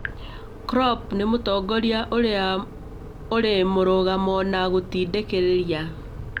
Klopp nĩ mũtongoria ũrĩ mũrũgamo na gũtindĩkĩrĩria